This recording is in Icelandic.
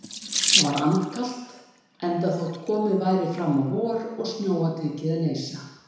Það var andkalt, enda þótt komið væri fram á vor og snjóa tekið að leysa.